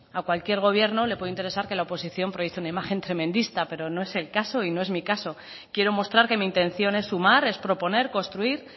a cualquier gobierno le puede interesar que la oposición proyecte una imagen tremendista pero no es el caso y no es mi caso quiero mostrar que mi intención es sumar es proponer construir